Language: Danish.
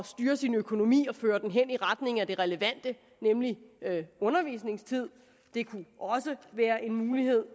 styre sin økonomi og føre den i retning af det relevante nemlig undervisningstid det kunne også være en mulighed